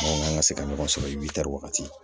Mɔgɔw kan ka se ka ɲɔgɔn sɔrɔ i bɛ taa wagati